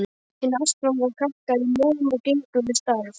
Hin ástfangna kalkar í mjöðm og gengur við staf.